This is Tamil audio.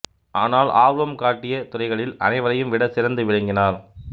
ஆனால் ஆர்வம் காட்டிய துறைகளில் அனைவரையும் விட சிறந்து விளங்கினார்